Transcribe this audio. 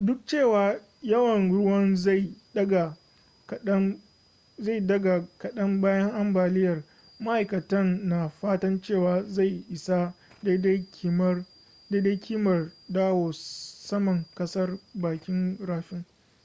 duk da cewa yawan ruwan zai daga kadan bayan ambaliyar maaikatan na fatan cewa zai isa daidai kimar dawo saman kasar bakin rafin